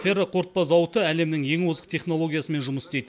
ферроқорытпа зауыты әлемнің ең озық технологиясымен жұмыс істейді